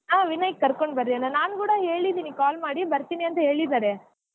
ಹಾ ವಿನಯ್ ಕರ್ಕೊಂಡ್ ಬನ್ನಿ ಅಣ್ಣಾ ನಾನ್ ಕೂಡಾ ಹೇಳಿದಿನಿ call ಮಾಡಿ ಬರ್ತೀನಿ ಅಂತಾ ಹೇಳಿದಾರೆ.